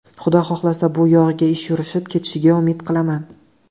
Xudo xohlasa, bu yog‘iga ish yurishib ketishiga umid qilaman.